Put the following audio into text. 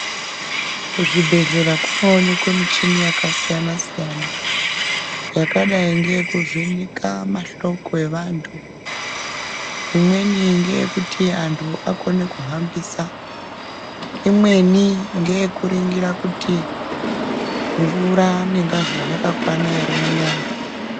Kuzvibhedhlera kunoonekwe michini yakasiyana siyana yakadai ngeyeku vheneka mahloko evantu, imweni ngeyekuti antu akone kuhambisa, imweni ngeyekuringira kuti mvura nengazi zvaka kwana ere munyama.